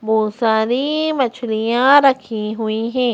बहुत सारी मछलियां रखी हुई है।